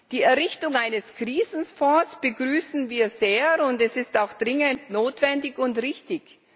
Die Errichtung eines Krisenfonds begrüßen wir sehr, und das ist auch dringend notwendig und richtig.